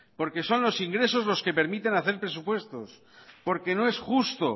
porque son los ingresos los que permiten hacer presupuestos porque no es justo